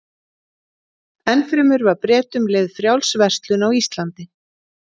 Enn fremur var Bretum leyfð frjáls verslun á Íslandi.